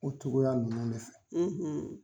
O tugula nan de fɛ;